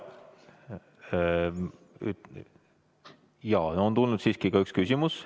On tulnud siiski ka üks küsimus.